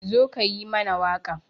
Zo ka yi mana waƙa